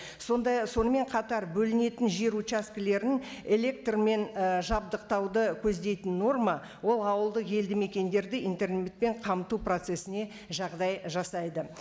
сонымен қатар бөлінетін жер участкілерін электрмен і жабдықтауды көздейтін норма ол ауылды елді мекендерді интернетпен қамту процессіне жағдай жасайды